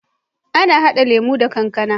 Ana hada lemo da kankAna